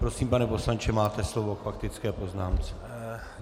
Prosím, pane poslanče, máte slovo k faktické poznámce.